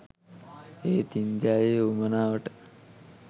එහෙත් ඉන්දියාවේ උවමනාවට